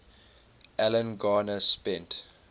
alan garner spent